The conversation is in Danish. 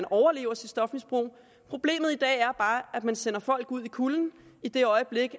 overlever et stofmisbrug problemet i dag er bare at man sender folk ud i kulden i det øjeblik